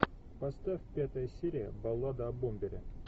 поставь пятая серия баллада о бомбере